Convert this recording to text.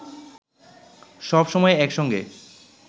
সব সময় একসঙ্গে